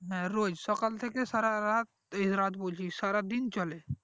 হ্যাঁ রোজ সকাল থেকে সারা রাত এই রাত বলছি সারা দিন চলে